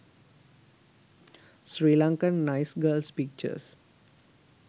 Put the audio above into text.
sri lankan nice girls pictures